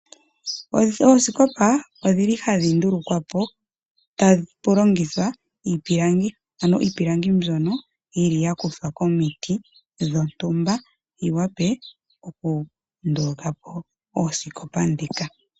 Oosikopa odhili hadhi ndulukwa po tapu longithwa iipilangi, mbyono yili ya kuthwa komiti dhontumba, yiwape okundulukapo oosikopa ndhika.